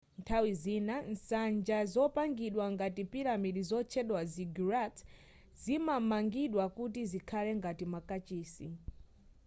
nthawi zina nsanja zopangidwa ngati piramidi zotchedwa ziggurats zidamangidwa kuti zikhale ngati makachisi